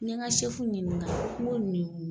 N ye ka sɛfu ɲininga nko nin du